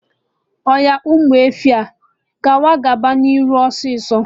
Oya, Ụmụ efi, ngwa gaba nụ n'iru, ọsịsọ!